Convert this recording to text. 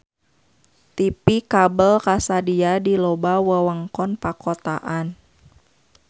TV kabel kasadia di loba wewengkon pakotaan.